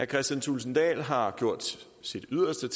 kristian thulesen dahl har gjort sit yderste